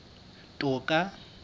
toka